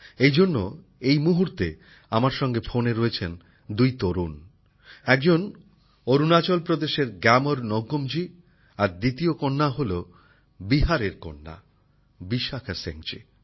এই জন্য এই মুহূর্তে আমার সঙ্গে ফোনে রয়েছেন দুই তরুণ একজন অরুণাচল প্রদেশের গ্যামর নৌকুমজী আর দ্বিতীয় জন হল বিহারের কন্যা বিশাখা সিংজী